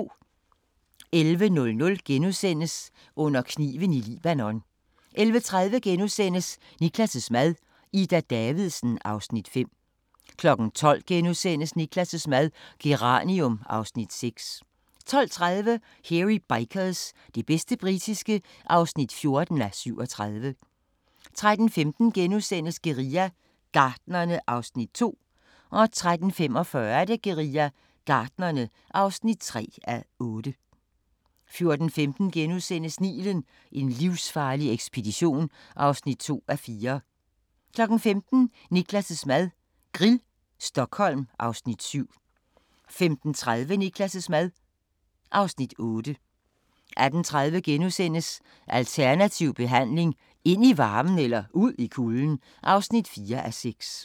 11:00: Under kniven i Libanon * 11:30: Niklas' mad - Ida Davidsen (Afs. 5)* 12:00: Niklas' mad - Geranium (Afs. 6)* 12:30: Hairy Bikers – det bedste britiske (14:37) 13:15: Guerilla Gartnerne (2:8)* 13:45: Guerilla Gartnerne (3:8) 14:15: Nilen: En livsfarlig ekspedition (2:4)* 15:00: Niklas' mad - Grill, Stockholm (Afs. 7) 15:30: Niklas' mad (Afs. 8) 18:30: Alternativ behandling – ind i varmen eller ud i kulden? (4:6)*